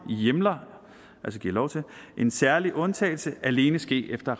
hjemler en særegen undtagelse alene ske efter